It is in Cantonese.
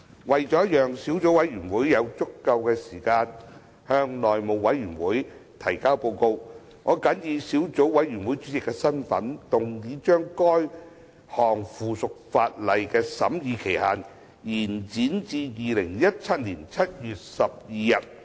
為了讓小組委員會有足夠時間向內務委員會提交報告，我謹以小組委員會主席的身份，動議將該項附屬法例的審議期限，延展至2017年7月12日。